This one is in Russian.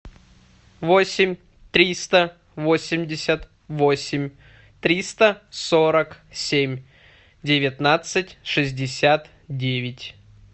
восемь триста восемьдесят восемь триста сорок семь девятнадцать шестьдесят девять